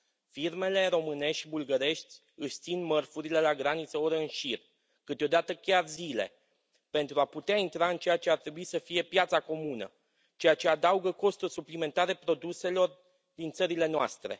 Firmele românești și bulgărești își țin mărfurile la graniță ore în șir, câteodată chiar zile pentru a putea intra în ceea ce ar trebui să fie piața comună, ceea ce adaugă costuri suplimentare produselor din țările noastre.